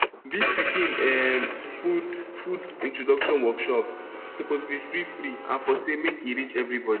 dis pikin um food food introduction workshops suppose be freefree and for say um make e reach everybody